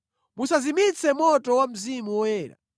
Musazimitse moto wa Mzimu Woyera.